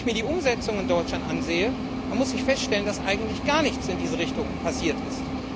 Wenn ich mir die Umsetzung in Deutschland ansehe, dann muss ich feststellen, dass eigentlich gar nichts in diese Richtung passiert ist.